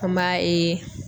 An b'a